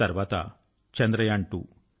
తర్వాత చంద్రయాన్2